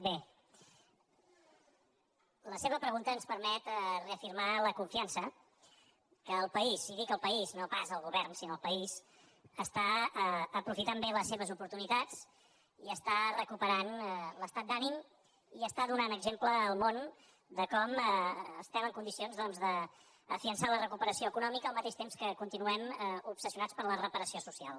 bé la seva pregunta ens permet reafirmar la confiança que el país i dic el país no pas el govern sinó el país està aprofitant bé les seves oportunitats i està recuperant l’estat d’ànim i està donant exemple al món de com estem en condicions doncs de consolidar la recuperació econòmica al mateix temps que continuem obsessionats per la reparació social